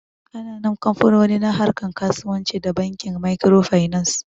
Ƙananan kamfanoni na harkar kasuwanci da Bankin Makirofainans.